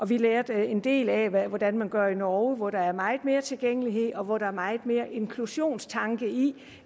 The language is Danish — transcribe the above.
vi lærte en del af hvordan man gør i norge hvor der er meget mere tilgængelighed og hvor der er meget mere inklusionstanke i